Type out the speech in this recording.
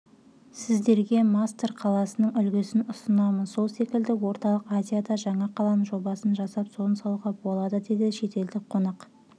сіздерге масдар қаласының үлгісін ұсынамын сол секілді орталық азияда жаңа қаланың жобасын жасап соны салуға болады деді шетелдік қонақ